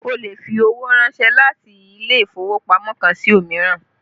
Ó lè fi owó ránsẹ́ láti ilé ìfowópamọ́ kan sí òmíràn